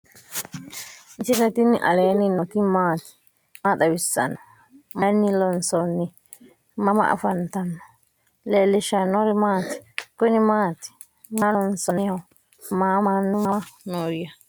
misile tini alenni nooti maati? maa xawissanno? Maayinni loonisoonni? mama affanttanno? leelishanori maati? kunni maati? maa loosi'naniho? maa mannu mama nooya?